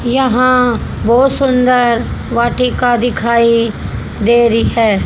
यहां बहुत सुंदर वाटिका दिखाई दे रही है।